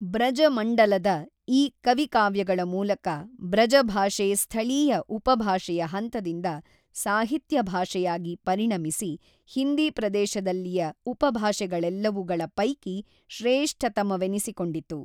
ಬ್ರಜಮಂಡಲದ ಈ ಕವಿಕಾವ್ಯಗಳ ಮೂಲಕ ಬ್ರಜಭಾಷೆ ಸ್ಥಳೀಯ ಉಪಭಾಷೆಯ ಹಂತದಿಂದ ಸಾಹಿತ್ಯ ಭಾಷೆಯಾಗಿ ಪರಿಣಮಿಸಿ ಹಿಂದೀ ಪ್ರದೇಶದಲ್ಲಿಯ ಉಪಭಾಷೆಗಳೆಲ್ಲವುಗಳ ಪೈಕಿ ಶ್ರೇಷ್ಠತಮವೆನಿಸಿಕೊಂಡಿತು.